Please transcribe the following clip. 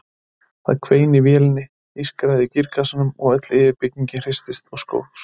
Það hvein í vélinni, ískraði í gírkassanum og öll yfirbyggingin hristist og skókst.